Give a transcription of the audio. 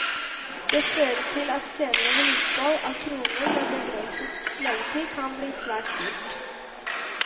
Det fører til at senere vedlikehold av kroner med begrenset levetid kan bli svært dyrt.